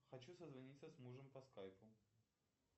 хочу созвониться с мужем по скайпу